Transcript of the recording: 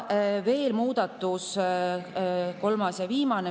Veel üks muudatus, kolmas ja viimane.